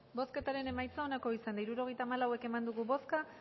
bozketaren emaitza onako izan da hirurogeita hamalau eman dugu bozka